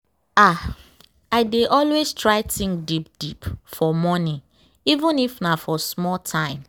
ah i dey always try think deep deep for morning even if nah for small time.